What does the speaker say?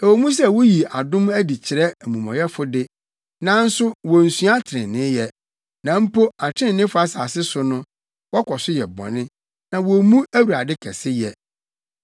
Ɛwɔ mu sɛ wuyi adom adi kyerɛ amumɔyɛfo de, nanso wonsua treneeyɛ; na mpo atreneefo asase so no, wɔkɔ so yɛ bɔne na wommu Awurade kɛseyɛ.